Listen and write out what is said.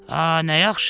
A, nə yaxşı!